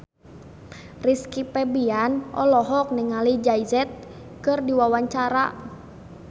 Rizky Febian olohok ningali Jay Z keur diwawancara